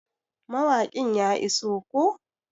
Mawaƙin ya iso koh?